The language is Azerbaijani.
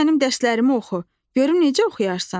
Gəl mənim dərslərimi oxu, görüm necə oxuyarsan.